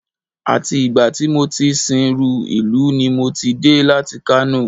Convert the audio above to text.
Àti ìgbà tí mo ti sìnrú ìlú ní mo ti dé láti Kano